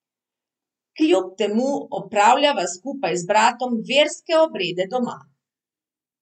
Kljub temu opravljava skupaj z bratom verske obrede doma.